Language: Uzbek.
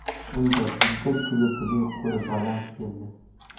Unda Jidda klubining qo‘li baland keldi.